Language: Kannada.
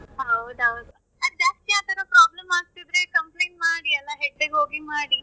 ಹೌದೌದು, ಜಾಸ್ತಿ ಆತರ problem ಆಗ್ತಿದ್ರೆ complaint ಮಾಡಿ ಅಲ್ಲ head ಗೆ ಹೋಗಿ ಮಾಡಿ.